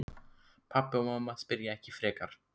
Pabbi og mamma spyrja ekki frekar.